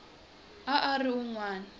a a ri un wana